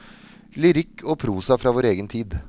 Lyrikk og prosa fra vår egen tid.